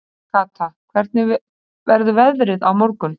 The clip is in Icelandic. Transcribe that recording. Kata, hvernig verður veðrið á morgun?